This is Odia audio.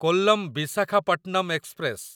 କୋଲ୍ଲମ ବିଶାଖାପଟ୍ଟନମ ଏକ୍ସପ୍ରେସ